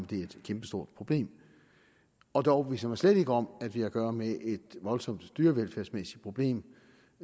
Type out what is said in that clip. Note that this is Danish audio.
det er et kæmpestort problem og det overbeviser mig slet ikke om at vi har at gøre med et voldsomt dyrevelfærdsmæssigt problem